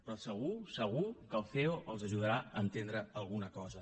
però segur segur que el ceo els ajudarà a entendre alguna cosa